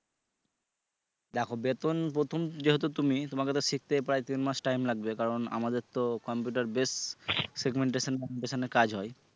দেখো বেতন প্রথম যেহেতু তুমি তোমাকে শিখতে প্রায় তিন মাস time লাগবে কারন আমাদের তোমার computer based segmentation যেখানে কাজ হয়